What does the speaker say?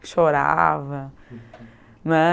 chorava, né.